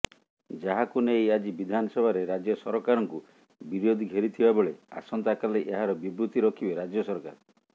ଯାହାକୁ ନେଇ ଆଜି ବିଧାନସଭାରେ ରାଜ୍ୟ ସରକାରଙ୍କୁ ବିରୋଧୀ ଘେରିଥିବାବେଳେ ଆସନ୍ତାକାଲି ଏହାର ବିବୃତି ରଖିବେ ରାଜ୍ୟ ସରକାର